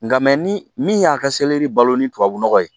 Nka mɛ ni min y'a ka selɛri balo ni tubabu nɔgɔ ye